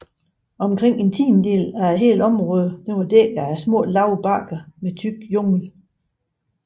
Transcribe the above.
Omkring en tiendedel af hele området var dækket af lave bakker med tyk jungle